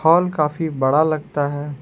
Hall काफी बड़ा लगता है।